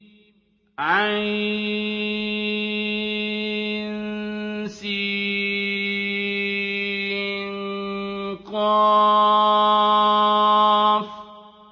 عسق